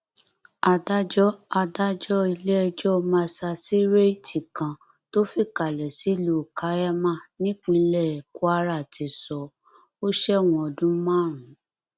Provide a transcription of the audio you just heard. adájọ adájọ iléẹjọ masasíréètì kan tó fìkàlẹ sílùú kaiama nípínlẹ kwara ti sọ ọ sẹwọn ọdún márùnún